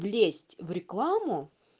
лезть в рекламу